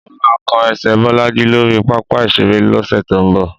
Mó máa kán ẹsẹ̀ Bọ́lájí lórí pápá ìṣeré lọ́sẹ̀ tó ń bọ̀.